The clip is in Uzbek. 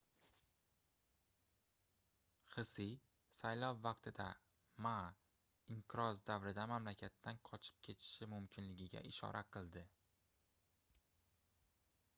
hsie saylov vaqtida ma inqiroz davrida mamlakatdan qochib ketishi mumkinligiga ishora qildi